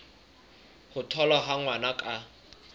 ho tholwa ha ngwana ka